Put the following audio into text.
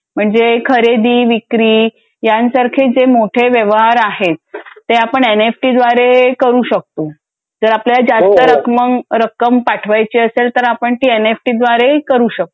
म्हणजे खरेदी, विक्री यांसारखे जे मोठे व्यवहार आहेत ते आपण आणि एनईएफटी द्वारे करू शकतो. जर आपल्याला जास्त रक्म रक्कम पाठवायची असेल तरआपण ती एनईएफटी द्वारे करू शकतो.